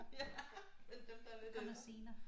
Ja men dem der er lidt ældre